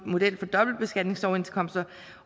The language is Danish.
model for dobbeltbeskatningsoverenskomster